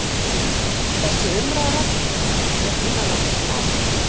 Þessi umræða er innanlandsmál